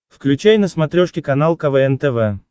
включай на смотрешке канал квн тв